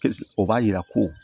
o b'a yira ko